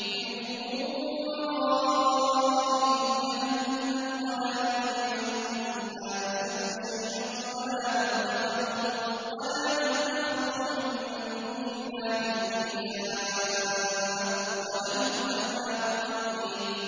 مِّن وَرَائِهِمْ جَهَنَّمُ ۖ وَلَا يُغْنِي عَنْهُم مَّا كَسَبُوا شَيْئًا وَلَا مَا اتَّخَذُوا مِن دُونِ اللَّهِ أَوْلِيَاءَ ۖ وَلَهُمْ عَذَابٌ عَظِيمٌ